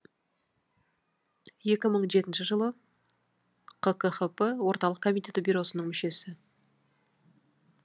екі мың жетінші жылы қкхп орталық комитеті бюросының мүшесі